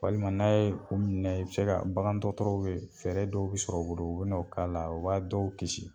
Walima n'a ye u minɛ i bi se ka bagandɔgɔtɔrɔ fɛɛrɛ dɔw bɛ sɔrɔ u bolo u bɛ n'o k'a la o b'a dɔw kiisi.